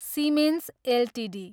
Siemens Ltd